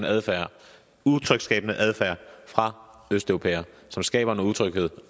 adfærd fra østeuropæere som skaber utryghed